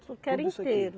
Porque era inteiro.